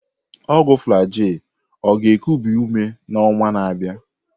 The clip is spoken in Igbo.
Ọgwụ Flagyl ọ ga-ekubi ume n'ọnwa na-abịa?